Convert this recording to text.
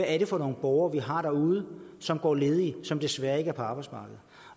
er for nogle borgere vi har derude som går ledige og som desværre ikke er på arbejdsmarkedet